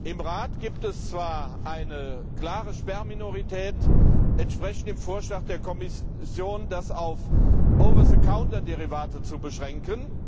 Im Rat gibt es zwar eine klare Sperrminorität entsprechend dem Vorschlag der Kommission, das auf Over the counter Derivate zu beschränken.